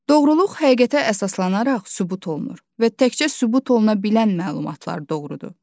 Doğruluq həqiqətə əsaslanaraq sübut olunur və təkcə sübut oluna bilən məlumatlar doğrudur.